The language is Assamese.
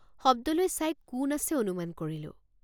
শব্দলৈ চাই কোন আছে অনুমান কৰিলোঁ।